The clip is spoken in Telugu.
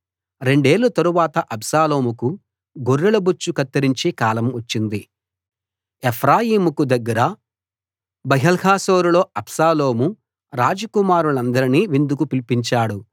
రెండేళ్ళ తరువాత అబ్షాలోముకు గొర్రెలబొచ్చు కత్తిరించే కాలం వచ్చింది ఎఫ్రాయిముకు దగ్గర బయల్హాసోరులో అబ్షాలోము రాజకుమారులనందరినీ విందుకు పిలిచాడు